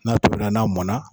N'a tobila n'a mɔn na.